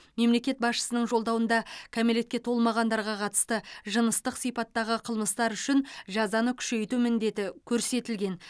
мемлекет басшысының жолдауында кәмелетке толмағандарға қатысты жыныстық сипаттағы қлымыстар үшін жазаны күшейту міндеті көрсетілген